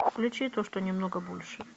включи то что немного больше